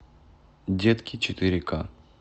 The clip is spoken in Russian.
детки четыре ка